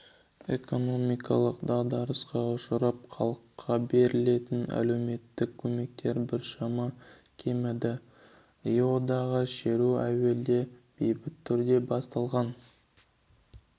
экономикалық дағдарысқа ұшырап халыққа берілетін әлеуметтік көмектер біршама кеміді риодағы шеру әуелде бейбіт түрде басталған